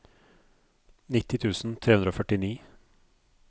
nitti tusen tre hundre og førtini